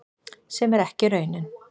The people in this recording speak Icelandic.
Sem er ekki raunin